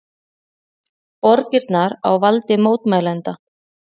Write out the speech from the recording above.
Borgirnar á valdi mótmælenda